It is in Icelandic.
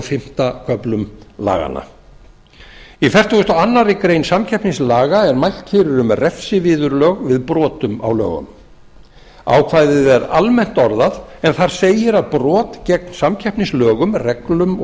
fimmta köflum laganna í fertugustu og aðra grein samkeppnislaga er mælt fyrir um refsiviðurlög við brotum á lögunum ákvæðið er almennt orðað en þar segir að brot gegn samkeppnislögum reglum og